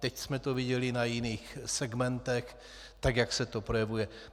Teď jsme to viděli na jiných segmentech tak, jak se to projevuje.